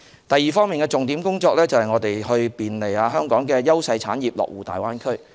第二方面的重點工作是便利優勢產業落戶大灣區。